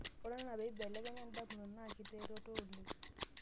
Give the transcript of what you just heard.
ore enaa pee inbelekeny indamunot naakiteroto oleng'